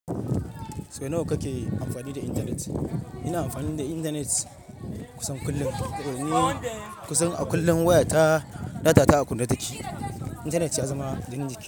Sau nawa kake amfani da intanet? Ina amfani da intanet kusan kullum. Toh ni kusan a kullum wayata data ta a kunne take. Intanet ya zama jinin jiƙi.